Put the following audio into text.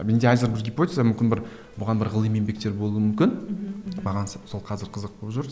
менде әзір бір гипотеза мүмкін бір бұған бір ғылыми еңбектер болуы мүмкін мхм мхм маған сол қазір қызық болып жүр